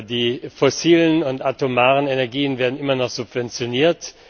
Die fossilen und atomaren Energien werden immer noch subventioniert.